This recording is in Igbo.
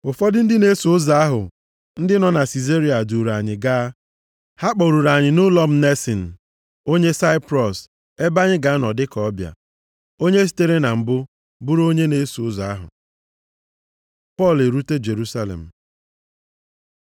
Ụfọdụ ndị na-eso ụzọ ahụ ndị nọ na Sizaria, duuru anyị gaa, ha kpọruru anyị nʼụlọ Mnasin, onye Saiprọs ebe anyị ga-anọ dịka ọbịa, onye sitere na mbụ bụrụ onye na-eso ụzọ ahụ. Pọl erute Jerusalem